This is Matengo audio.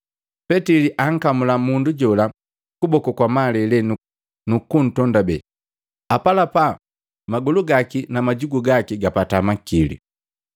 Petili ankamula mundu jola kuboku kwamalele, nuku ntondabee. Apalapa magolu gaki na majugu gaki gapata makili.